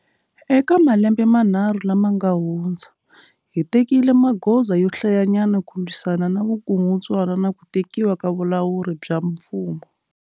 Eka malembe manharhu lama nga hundza, hi tekile magoza yo hlayanyana ku lwisana na vukungundzwana na ku tekiwa ka vulawuri bya mfumo.